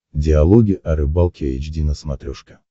диалоги о рыбалке эйч ди на смотрешке